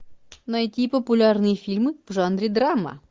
найти популярные фильмы в жанре драма